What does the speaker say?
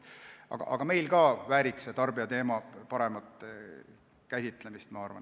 Aga ka meil vääriks tarbijateema paremat käsitlemist, ma arvan.